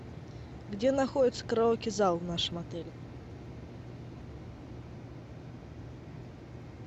где находится караоке зал в нашем отеле